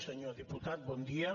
senyor diputat bon dia